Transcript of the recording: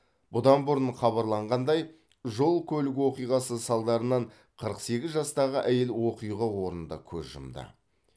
бұдан бұрын хабарланғандай жол көлік оқиғасы салдарынан қырық сегіз жастағы әйел оқиға орнында көз жұмды